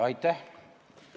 Aitäh!